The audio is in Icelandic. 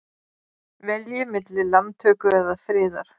Velji milli landtöku eða friðar